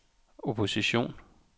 opposition